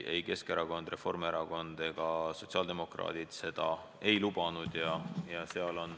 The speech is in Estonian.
Ei Keskerakond, Reformierakond ega sotsiaaldemokraadid seda ei lubanud.